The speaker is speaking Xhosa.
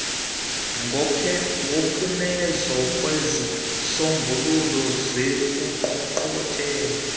ngophumezo lwezisombululo zengqungquthela